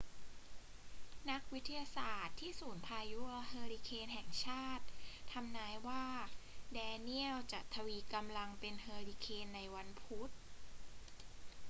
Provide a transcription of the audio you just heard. นักวิทยาศาสตร์ที่ศูนย์พายุเฮอร์ริเคนแห่งชาติทำนายว่าแดเนียลจะทวีกำลังเป็นเฮอร์ริเคนในวันพุธ